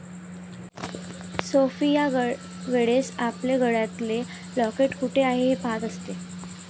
Sophie या वेळेस आपले गळ्यातले लॉकेट कुठे आहे हे पाहत असते.